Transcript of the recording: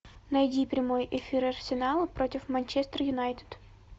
найди прямой эфир арсенала против менчестер юнайтед